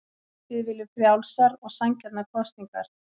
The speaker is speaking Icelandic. Við viljum frjálsar og sanngjarnar kosningar